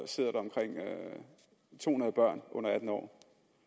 sidder omkring to hundrede børn under atten år